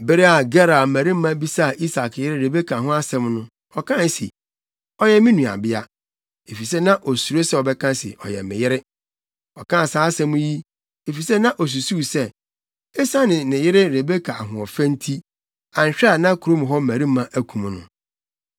Bere a Gerar mmarima bisaa Isak yere Rebeka ho asɛm no, ɔkae se, “Ɔyɛ me nuabea.” Efisɛ na osuro sɛ ɔbɛka se, “Ɔyɛ me yere.” Ɔkaa saa asɛm yi, efisɛ na osusuw sɛ, esiane ne yere Rebeka ahoɔfɛ nti, anhwɛ a na kurom hɔ mmarima akum no.